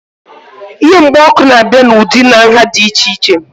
Ihe mgba ọkụ na-abịa n'ụdị na nhá dị iche iche